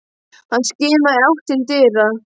Hann skimaði í átt til dyra.